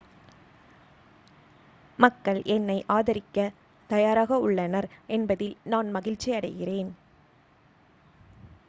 மக்கள் என்னை ஆதரிக்க தயாராக உள்ளனர் என்பதில் நான் மகிழ்ச்சியடைகிறேன்